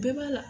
Bɛɛ b'a la